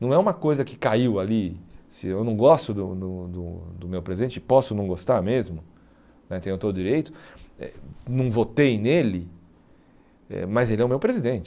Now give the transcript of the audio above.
Não é uma coisa que caiu ali, se eu não gosto do do do do meu presidente, posso não gostar mesmo, né tenho todo o direito, eh não votei nele eh, mas ele é o meu presidente.